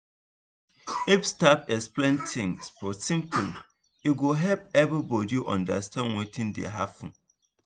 if staff explain things for simple way e go help everybody understand wetin dey happen.